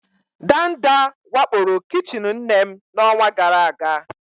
Ndanda wakporo kichin nne m n'ọnwa gara aga.